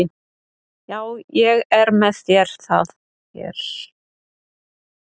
Já, ég er með það hér.